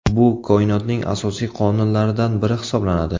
Bu Koinotning asosiy qonunlaridan biri hisoblanadi.